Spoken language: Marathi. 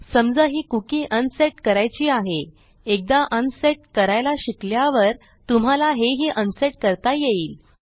समजा ही कुकी अनसेट करायची आहे एकदा अनसेट करायला शिकल्यावर तुम्हाला हेही अनसेट करता येईल